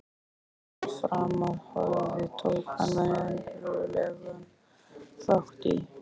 Öllu, sem til framfara horfði, tók hann verulegan þátt í.